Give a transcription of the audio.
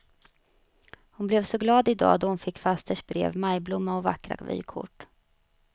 Hon blev så glad i dag då hon fick fasters brev, majblomma och vackra vykort.